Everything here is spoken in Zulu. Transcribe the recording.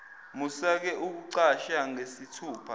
musake ukucasha ngesithupha